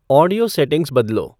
audio settings बदलो